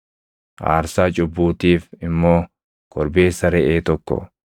aarsaa cubbuutiif immoo korbeessa reʼee tokko,